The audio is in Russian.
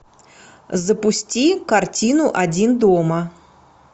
запусти картину один дома